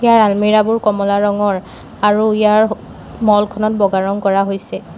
ইয়াৰ আলমিৰাবোৰ কমলা ৰঙৰ আৰু ইয়াৰ মলখনত বগা ৰং কৰা হৈছে।